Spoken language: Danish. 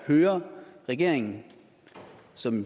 høre regeringen som